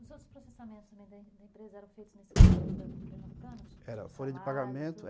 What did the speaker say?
Os outros processamentos também da empresa eram feitos nesse computador da Pernambucanas? Era, folha de pagamento.